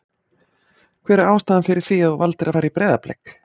Hver er ástæðan fyrir því að þú valdir að fara í Breiðablik?